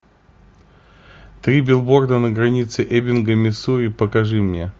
три билборда на границе эббинга миссури покажи мне